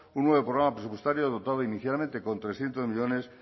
un nuevo programa presupuestario dotado inicialmente con trescientos millónes